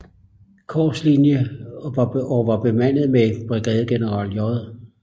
Korps linje og var bemandet med brigadegeneral J